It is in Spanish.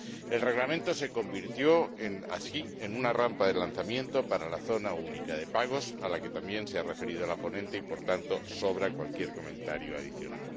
El Reglamento se convirtió así en una rampa de lanzamiento para la zona única de pagos a la que también se ha referido la ponente y, por tanto, sobra cualquier comentario adicional.